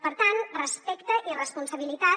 per tant respecte i responsabilitat